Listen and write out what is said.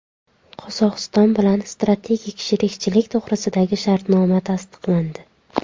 Qozog‘iston bilan strategik sherikchilik to‘g‘risidagi shartnoma tasdiqlandi.